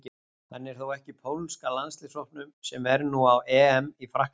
Hann er þó ekki í pólska landsliðshópnum sem er nú á EM í Frakklandi.